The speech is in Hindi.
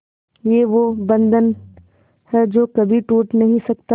ये वो बंधन है जो कभी टूट नही सकता